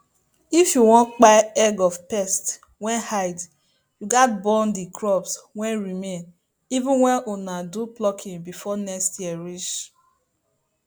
if you won kpai egg of pest wey hide you gats burn the crop wey remain even when una do plucking before next year reach